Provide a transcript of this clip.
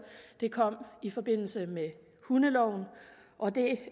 det kom i forbindelse med hundeloven og det